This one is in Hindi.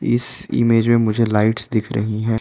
इस इमेज मे मुझे लाइट्स दिख रही हैं।